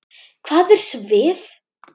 Hvað er svið?